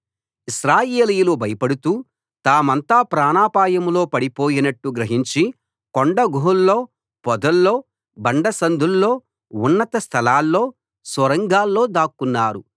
ఇశ్రాయేలీయులు భయపడుతూ తామంతా ప్రాణాపాయంలో పడిపోయినట్టు గ్రహించి కొండ గుహల్లో పొదల్లో బండసందుల్లో ఉన్నత స్థలాల్లో సొరంగాల్లో దాక్కున్నారు